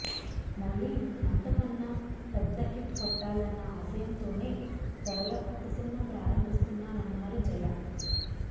మళ్లీ అంతకన్నా పెద్ద హిట్ కొట్టాలన్న ఆశయంతోనే త్వరలో కొత్త సినిమా ప్రారంభిస్తున్నామన్నారు జయ